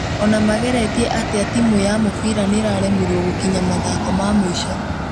Ona mageretie atĩa timu ya mũbira nĩ ĩraremirwo gũkinya mathako ma mũico